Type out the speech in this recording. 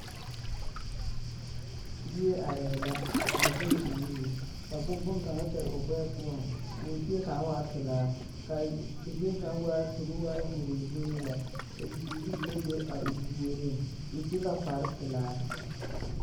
Bie arɛɛ la a zɛge o nuuri ka boŋkaŋa fɛre o gbɛɛ poɔ k'o zie kaŋa waa pelaa k'a zie kaŋa waa tobo waa horee horee lɛ ka bibiiri mine be a o puoriŋ o su la kpare pelaa.